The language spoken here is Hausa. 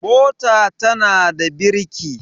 mota tana da birki